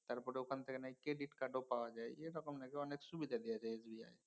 তারপরে ওইখান থেকে নাকি credit card ও পাওয়া যায়। এরকমক নাকি অনেক সুবিধা দিয়েছে SBI